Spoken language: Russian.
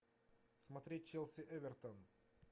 смотреть челси эвертон